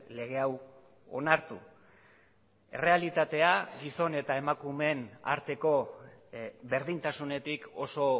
lege hau onartu errealitatea gizon eta emakumeen arteko berdintasunetik oso